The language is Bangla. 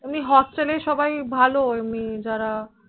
এমনি hostel এ সবাই ভালো এমনি যারা